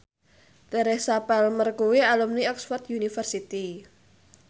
Teresa Palmer kuwi alumni Oxford university